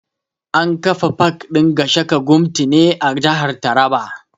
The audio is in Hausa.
An kafa pak ɗin Gashaka Gumti ne a jihar taraba